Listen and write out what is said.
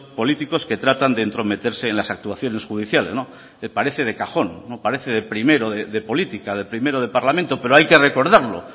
políticos que tratan de entrometerse en las actuaciones judiciales me parece de cajón parece de primero de política de primero de parlamento pero hay que recordarlo